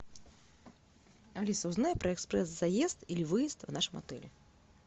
алиса узнай про экспресс заезд или выезд в нашем отеле